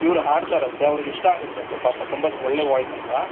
ಇವರು ಆಡ್ತಾರಂತೆ ಅವರಿಗೆ ಇಷ್ಟ ಆಗುತ್ತಂತೆ ಪಾಪ ತುಂಬಾ ಒಳ್ಳೆಯ voice ಅಂತ